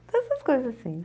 Essas coisas assim.